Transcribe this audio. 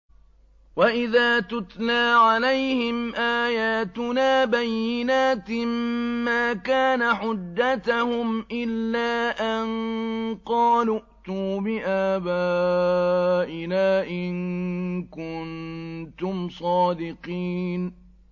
وَإِذَا تُتْلَىٰ عَلَيْهِمْ آيَاتُنَا بَيِّنَاتٍ مَّا كَانَ حُجَّتَهُمْ إِلَّا أَن قَالُوا ائْتُوا بِآبَائِنَا إِن كُنتُمْ صَادِقِينَ